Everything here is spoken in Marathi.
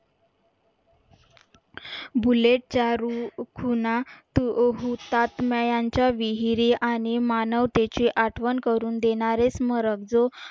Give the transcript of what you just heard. बुलेट चारू खुणा तू हुतात्म्यांच्या विहिरी आणि मानवतेची आठवण करून देणारे स्मरक जो